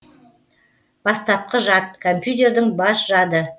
бастапқы жад компьютердің бас жады